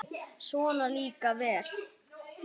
Svona líka vel!